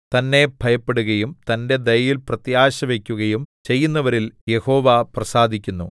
തന്നെ ഭയപ്പെടുകയും തന്റെ ദയയിൽ പ്രത്യാശ വയ്ക്കുകയും ചെയ്യുന്നവരിൽ യഹോവ പ്രസാദിക്കുന്നു